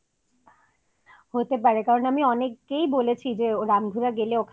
হতে পারে কারন আমি অনেককেই বলেছি যে রামধুলা গেলে ওখানে